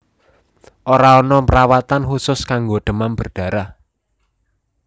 Ora ana perawatan khusus kanggo demam berdarah